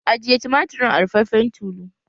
Ajiye tumatir ɗin a ruffafen tulu!